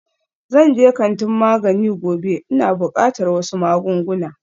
Zan je kantin magani gobe, ina buƙatar wasu magunguna